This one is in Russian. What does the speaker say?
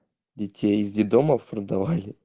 детей из детдомов продавали